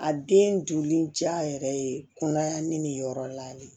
A den joli ja yɛrɛ ye kunnayani nin yɔrɔ la de